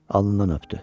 Alnından öpdü.